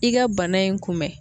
I ka bana in kunbɛn